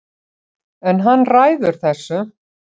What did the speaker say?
En hann ræður þessu